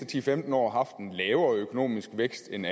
til femten år haft en lavere økonomisk vækst end